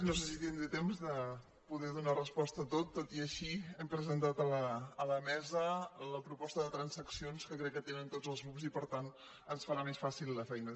no sé si tindré temps de poder donar resposta a tot tot i així hem presentat a la mesa la proposta de transaccions que crec que tenen tots els grups i per tant ens farà més fàcil la feina